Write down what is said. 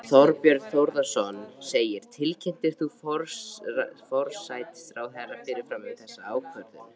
Þorbjörn Þórðarson: Tilkynntir þú forsætisráðherra fyrirfram um þessa ákvörðun?